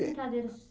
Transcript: de